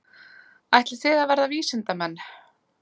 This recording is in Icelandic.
Þórhildur: Ætlið þið að verða vísindamenn?